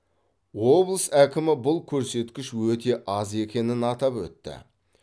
облыс әкімі бұл көрсеткіш өте аз екенін атап өтті